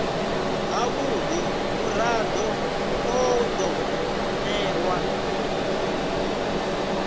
havhudi murado u do newa